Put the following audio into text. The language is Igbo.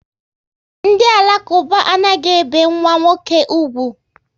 Ndị Alakuba anaghị ebe nwa nwoke úgwù